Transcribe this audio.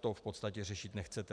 to v podstatě řešit nechcete.